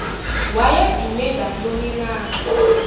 wayedume ngantoni na